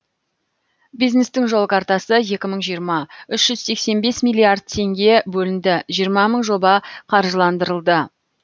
бизнестің жол картасы екі мың жиырма үш жүз сексен бес миллиард теңге бөлінді жиырма мың жоба қаржыландырылды